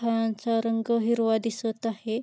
फळांचा रंग हिरवा दिसत आहे.